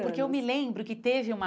Porque eu me lembro que teve uma...